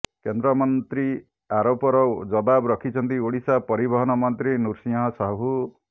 କେନ୍ଦ୍ରମନ୍ତ୍ରୀ ଆରୋପର ଜବାବ ରଖିଛନ୍ତି ଓଡ଼ିଶା ପରିବହନମନ୍ତ୍ରୀ ନୃସିଂହ ସାହୁ